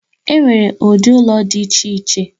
Enwere ụdị ụlọ dị iche iche